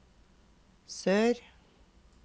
sør